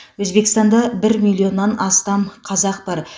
өзбекстанда бір миллионнан астам қазақ бар